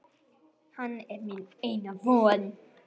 Hann er mín eina von.